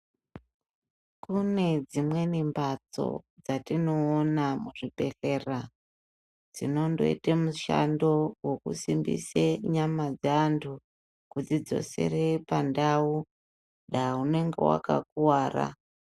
Kunedzimweni mhatso dzatinoona muzvibhehlera dzinondoite mushando wekusimbise nyama dzeantu kudzidzosere pandau da unenge wakakuwara.